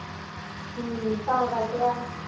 ਹਮ ਤਾ ਕਰਕੇ